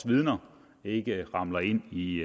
vidner ikke ramler ind i